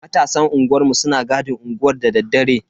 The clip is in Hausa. Matasan unguwanmu suna gadin unguwar dadaddare.